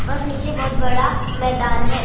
और नीचे बहुत बड़ा मैदान है ।